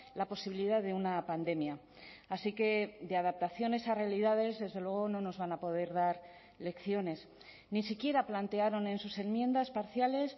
la posibilidad de una pandemia así que de adaptaciones a realidades desde luego no nos van a poder dar lecciones ni siquiera plantearon en sus enmiendas parciales